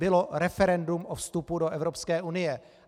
Bylo referendum o vstupu do Evropské unie.